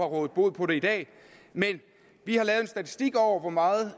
rådet bod på det i dag vi har lavet en statistik over hvor meget